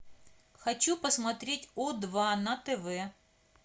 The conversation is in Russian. хочу посмотреть о два на тв